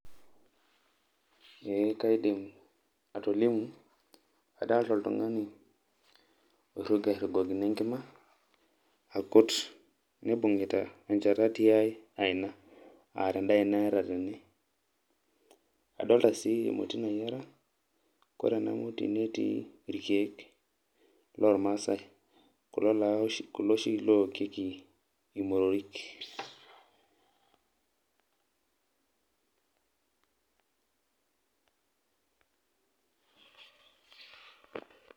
kaidim atolimu, kadolita oltung'ani ogira airugokino enkima akut. neibung'ita enchata tiae aina tenda aina ee tatene adolita sii emoti nayiera ore ene moti netii irkeek loo irmaasae kulo oshi lookieki imotori.